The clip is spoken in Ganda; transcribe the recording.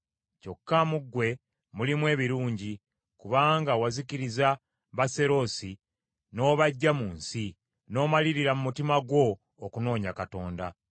Kyokka mu ggwe mulimu ebirungi, kubanga wazikiriza Baaserosi n’obaggya mu nsi, n’omalirira mu mutima gwo okunoonya Katonda.”